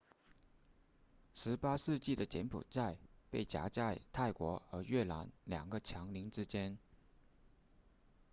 18世纪的柬埔寨被夹在泰国和越南两个强邻之间